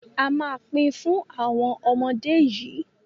a má Pin Fun àwọn ọmọ dé yí.